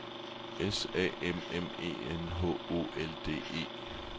S A M M E N H O L D E